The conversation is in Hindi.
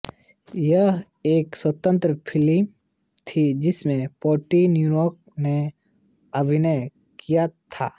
यह एक स्वतंत्र फिल्म थी जिसमें पैटी ड्यूक ने अभिनय किया था